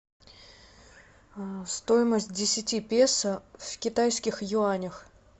стоимость десяти песо в китайских юанях